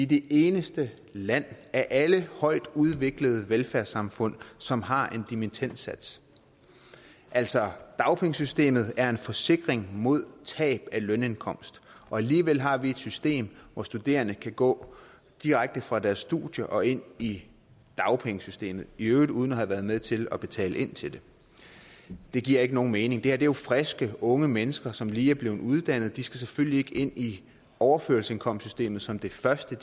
det eneste land af alle højtudviklede velfærdssamfund som har en dimittendsats altså dagpengesystemet er en forsikring mod tab af lønindkomst og alligevel har vi et system hvor studerende kan gå direkte fra deres studier og ind i dagpengesystemet i øvrigt uden at have været med til at betale til det det giver ikke nogen mening det her er jo friske unge mennesker som lige er blevet uddannet de skal selvfølgelig ikke ind i overførselsindkomstsystemet som det første